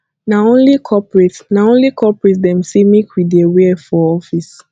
na only corporate na only corporate dem sey make we dear wear for office